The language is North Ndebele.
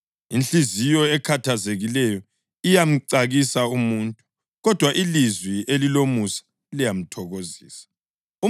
Inhliziyo ekhathazekileyo iyamcakisa umuntu, kodwa ilizwi elilomusa liyamthokozisa.